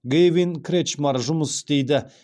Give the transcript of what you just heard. гэйвин кретчмар жұмыс істейді